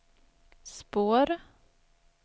spår